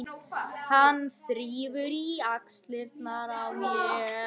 Hann þrífur í axlirnar á mér.